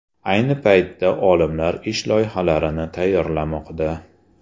Ayni paytda olimlar ish loyihalarini tayyorlamoqda.